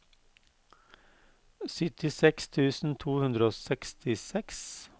syttiseks tusen to hundre og sekstiseks